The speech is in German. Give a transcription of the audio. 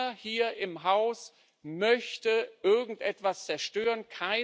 Keiner hier im Haus möchte irgendetwas zerstören.